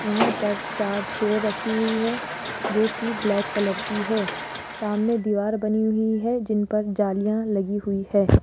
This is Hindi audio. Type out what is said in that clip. यहां पर चार चेयर रखी हुई है जो की ब्लैक कलर की है सामने दीवार बनी हुई है जिन पर जालियां लगी हुई है।